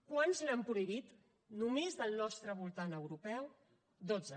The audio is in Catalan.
quants l’han prohibit només del nostre voltant europeu dotze